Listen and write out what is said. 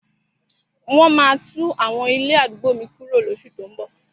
Wọ́n maá tún àwọn ilé àdúgbò mi kuro lóṣù tó ún bọ̀.